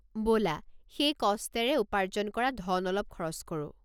ব'লা সেই কষ্টেৰে উপাৰ্জন কৰা ধন অলপ খৰচ কৰোঁ।